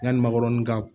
Yani makɔrɔni ka